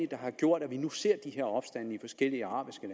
der har gjort at vi nu ser de her opstande i forskellige arabiske